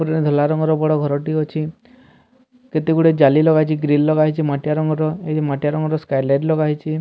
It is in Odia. ଗୋଟେ ଧଲା ରଙ୍ଗର ବଡ ଘର ଟିଏ ଅଛି କେତେ ଗୁଡ଼ିଏ ଯାଲି ଲଗା ହେଇଚି ଗ୍ରିଲ୍ ଲଗା ହେଇଚି ମାଟିଆ ରଙ୍ଗର ଏଠି ମାଟିଆ ରଙ୍ଗର ସ୍କଏ ଲାଇଟ୍ ଲଗା ହେଇଚି ।